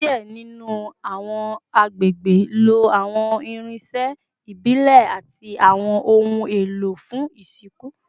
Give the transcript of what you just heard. Diẹ ninu awọn agbegbe lo awọn irinṣẹ ibile ati awọn ohun elo fun isinku